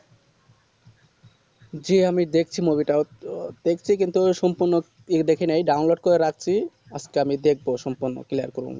জি আমি দেখছি movie তা ও তো দেখছি কিন্তু সম্পূর্ণ দেখিনাই download করে রাকসি আজকে আমি দেখবো সম্পূর্ণ cliar করে নিবো